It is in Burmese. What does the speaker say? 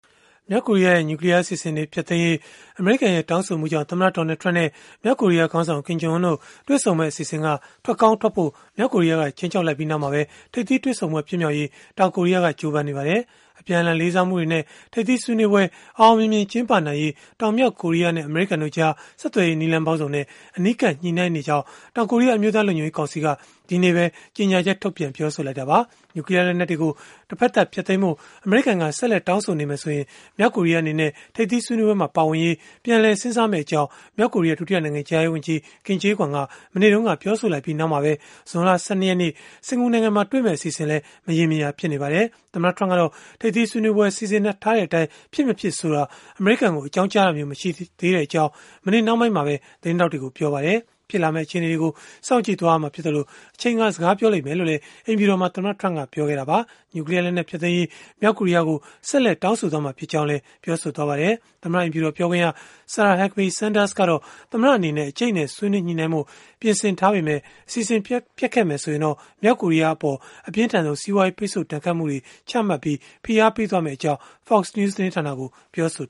မြောက်ကိုရီးယားရဲ့ နျူကလီးယားအစီအစဉ်တွေ ဖျက်သိမ်းဖို့ အမေရိကန်ရဲ့ တောင်းဆိုမှုကြောင့် သမ္မတ Donald Trump နဲ့ မြောက်ကိုရီးယား ခေါင်းဆောင် Kim Jong Un တို့ တွေ့ဆုံမယ့် အစီအစဉ်ကိုဖျက်ဖို့ မြောက်ကိုရီးယားက ခြိမ်းခြောက်လိုက်ပြီး နောက်မှာပဲ ထိပ်သီးတွေ့ဆုံပွဲ ဖြစ်မြောက်ရေး တောင်ကိုရီးယားက ကြိုးပမ်းနေပါတယ်။ အပြန်အလှန် လေးစားမှုတွေနဲ့ ထိပ်သီးဆွေးနွေးပွဲ အောင်အောင်မြင်မြင် ကျင်းပနိုင်ရေး တောင်-မြောက် ကိုရီးယားနဲ့ အမေရိကန်တို့ကြား ဆက်သွယ်ရေး နည်းလမ်းပေါင်းစုံနဲ့ အနီးကပ် ညှိနှိုင်းနေကြောင်း တောင်ကိုရီးယား အမျိုးသားလုံခြုံရေးကောင်စီက ဒီကနေ့ပဲ ကြေညာချက်ထုတ်ပြန် ပြောဆိုခဲ့တာပါ။ နျူကလီးယား လက်နက်တွေကို တဘက်သတ်ဖျက်သိမ်းဖို့ အမေရိကန်က ဆက်လက်တောင်းဆိုနေမယ်ဆိုရင် မြောက်ကိုရီးယား အနေနဲ့ ထိပ်သီးဆွေးနွေးပွဲမှာ ပါဝင်ရေး ပြန်လည်စဉ်းစားမယ့်အကြောင်း မြောက်ကိုရီးယား ဒုတိယနိုင်ငံခြားရေးဝန်ကြီး Kim Kye Gwan က မနေ့တုန်းက ပြောဆိုလိုက်ပြီးနောက်မှာပဲ ဇွန်လ ၁၂ ရက်နေ့ စင်္ကာပူနိုင်ငံမှာတွေ့မယ့် အစီအစဉ်လည်း မရေမရာ ဖြစ်နေပါတယ်။ သမ္မတ Trump ကတော့ ထိပ်သီးဆွေးနွေးပွဲ စီစဉ်ထားတဲ့အတိုင်း ဖြစ်မဖြစ်ဆိုတာကို အမေရိကန်ကို အကြောင်းကြားတာမျိုး မရှိသေးကြောင်း မနေ့နှောင်းပိုင်းမှာပဲ သတင်းထောက်တွေကို ပြောခဲ့ပါတယ်။ ဖြစ်လာမယ့် အခြေအနေတွေကို စောင့်ကြည့်ရမှာဖြစ်သလို၊ အချိန်က စကားပြောမှာဖြစ်ကြောင်း အိမ်ဖြူတော်မှာ သမ္မတ Trump ကပြောခဲ့တာပါ။ နျူကလီးယားလက်နက် ဖျက်သိမ်းရေး မြောက်ကိုရီးယားကို ဆက်လက် တောင်းဆိုသွားမှာ ဖြစ်ကြောင်းလည်း ပြောခဲ့ပါတယ်။ သမ္မတအိမ်ဖြူတော် ပြောခွင့်ရ Sarah Huckabee Sanders ကတော့ သမ္မတအနေနဲ့ အကြိတ်အနယ် ဆွေးနွေးညှိနှိုင်းဖို့ ပြင်ဆင်ထားပေမဲ့ အစီအစဉ် ပျက်ခဲ့မယ်ဆိုရင်တော့ မြောက်ကိုရီးယားအပေါ် အပြင်းထန်ဆုံး စီးပွားရေး ပိတ်ဆို့ဒဏ်ခတ်မှုတွေ ချမှတ်ပြီး ဖိအားပေးသွားမှာဖြစ်ကြောင်း Fox News သတင်းဌာနကို ပြောဆို